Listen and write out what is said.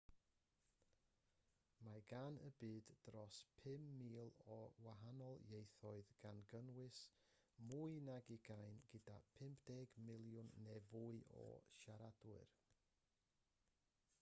mae gan y byd dros 5,000 o wahanol ieithoedd gan gynnwys mwy nag ugain gyda 50 miliwn neu fwy o siaradwyr